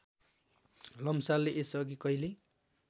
लम्सालले यसअघि कहिल्यै